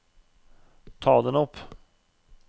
ta den opp